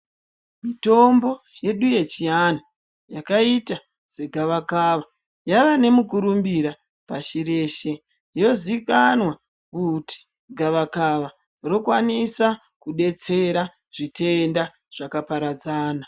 Mitombo yedu yechianhu yakaita segavakava yava nemukurumbira pashi reshe. Yozikanwa kuti gavakava rokwanisa kudetsera zvitenda zvakaparadzana.